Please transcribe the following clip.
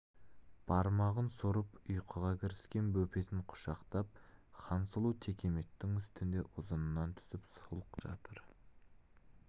бармағын сорып ұйқыға кіріскен бөпесін құшақтап хансұлу текеметтің үстінде ұзынынан түсіп сұлық жатыр